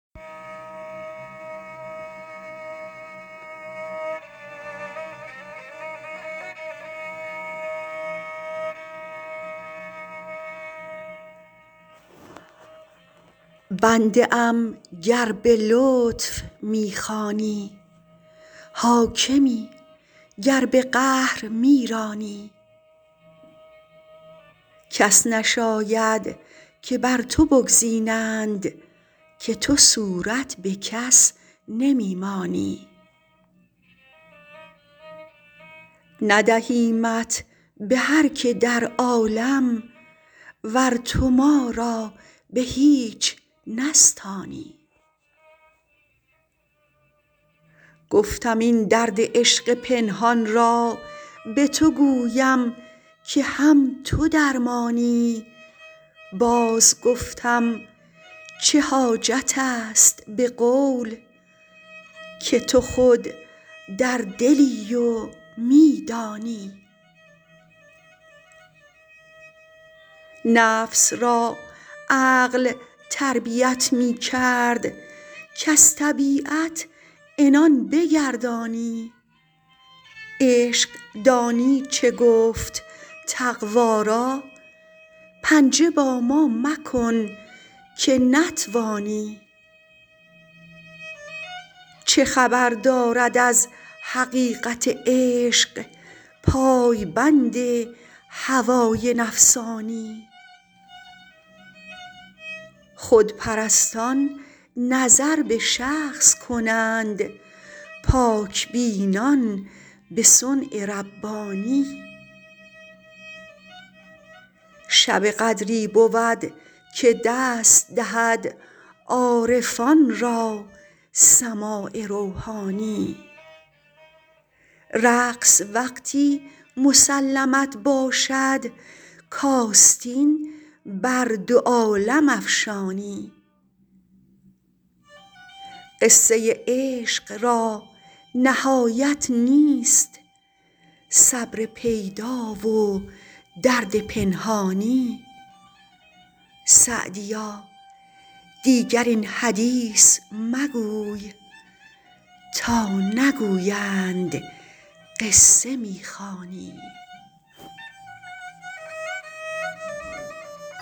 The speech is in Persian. بنده ام گر به لطف می خوانی حاکمی گر به قهر می رانی کس نشاید که بر تو بگزینند که تو صورت به کس نمی مانی ندهیمت به هر که در عالم ور تو ما را به هیچ نستانی گفتم این درد عشق پنهان را به تو گویم که هم تو درمانی باز گفتم چه حاجت است به قول که تو خود در دلی و می دانی نفس را عقل تربیت می کرد کز طبیعت عنان بگردانی عشق دانی چه گفت تقوا را پنجه با ما مکن که نتوانی چه خبر دارد از حقیقت عشق پای بند هوای نفسانی خودپرستان نظر به شخص کنند پاک بینان به صنع ربانی شب قدری بود که دست دهد عارفان را سماع روحانی رقص وقتی مسلمت باشد کآستین بر دو عالم افشانی قصه عشق را نهایت نیست صبر پیدا و درد پنهانی سعدیا دیگر این حدیث مگوی تا نگویند قصه می خوانی